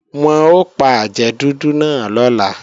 Wọn ò pa àjẹ́ dúdú náà lọ́la